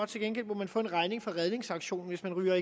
til gengæld må man få en regning for redningsaktionen hvis man ryger